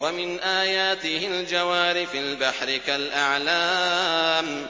وَمِنْ آيَاتِهِ الْجَوَارِ فِي الْبَحْرِ كَالْأَعْلَامِ